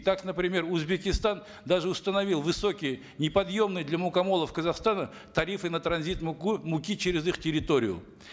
так например узбекистан даже установил высокие неподъемные для мукомолов казахстана тарифы на транзит муки через их территорию